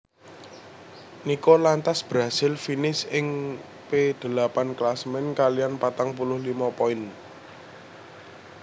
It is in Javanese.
Nico lantas berhasil finish ing P delapan klasemen kaliyan patang puluh limo poin